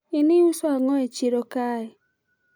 in iuso ango e chiro kae?